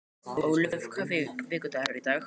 Ólöf, hvaða vikudagur er í dag?